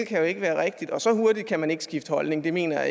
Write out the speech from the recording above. kan jo ikke være rigtige og så hurtigt kan man ikke skifte holdning det mener